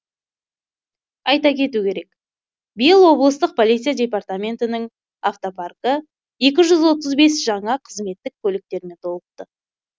айта кету керек биыл облыстық полиция департаментінің автопаркі екі жүз отыз бес жаңа қызметтік көліктермен толықты